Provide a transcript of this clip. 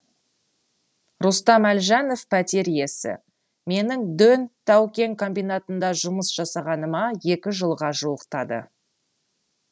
рустам әлжанов пәтер иесі менің дөң тау кен комбинатында жұмыс жасағаныма екі жылға жуықтады